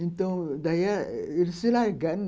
Então, daí eles se largaram.